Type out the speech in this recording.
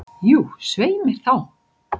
Jú, svei mér þá.